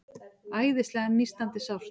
Æðislega nístandi sárt.